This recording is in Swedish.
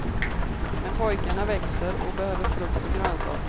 Men pojkarna växer och behöver frukt och grönsaker.